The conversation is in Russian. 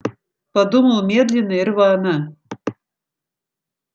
подумал медленно и рвано